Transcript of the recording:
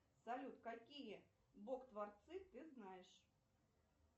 салют какие бог творцы ты знаешь